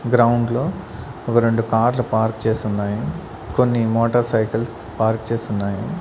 Ground లో ఒక రెండు కార్లు పార్క్ చేసి ఉన్నాయి కొన్ని మోటార్ సైకిల్స్ పార్క్ చేసి ఉన్నాయి.